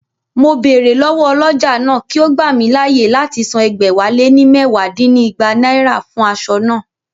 Mo bèrè lọ́wọ́ ọlọ́jà náà kí ó gbà mí láyè láti san ẹgbẹ̀wáléní mẹwa dínígba náírà fún aṣọ naa